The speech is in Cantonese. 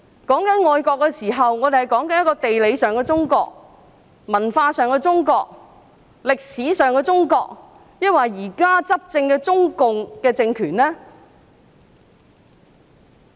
我們談到愛國的時候，究竟是指地理上的中國、文化上的中國、歷史上的中國，還是現時執政的中共政權呢？